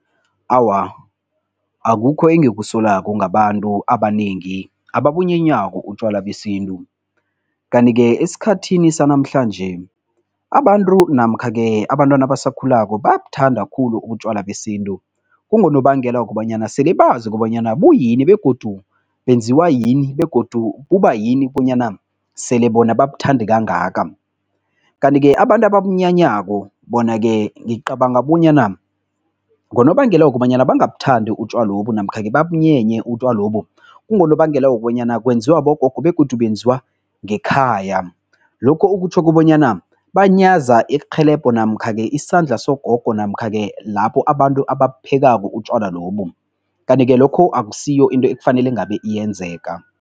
Awa, akukho engikusolako ngabantu abanengi ababunyenyako utjwala besintu. Kanti-ke esikhathini sanamhlanje abantu namkha-ke abantwana abasakhulako bayabuthanda khulu utjwala besintu. Kungonobangela wokobanyana sele bazi kobanyana buyini begodu benziwa yini begodu kubayini bonyana sele bona babuthande kangaka. Kanti-ke abantu ababunyanyako bona-ke ngicabanga bonyana ngonobangela wokobanyana bangabuthandi utjwalobu namkha-ke babunyenye utjwalobu, kungonobangela wokobanyana kwenziwa bogogo begodu benziwa ngekhaya. Lokhu okutjho kobanyana banyaza irhelebho namkha-ke isandla sogogo namkha-ke lapho abantu ababuphekako utjwala lobu kanti-ke lokho akusiyo into ekufanele ngabe iyenzeka.